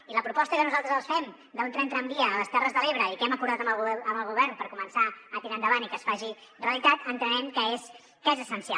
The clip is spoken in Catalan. i la proposta que nosaltres els fem d’un tren tramvia a les terres de l’ebre i que hem acordat amb el govern per començar a tirar endavant i que es faci realitat entenem que és essencial